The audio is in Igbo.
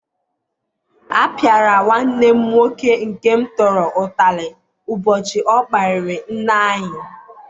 A pịara nwanne m nwoke nke m tọrọ utarị ubochi o kparịrị nne anyị